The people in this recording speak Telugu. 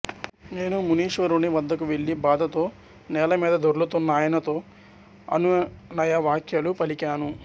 నేను మునీశ్వరుని వద్దకు వెళ్ళి బాధతో నేలమీద దొర్లుతున్న ఆయనతో అనునయ వాక్యాలు పలికాను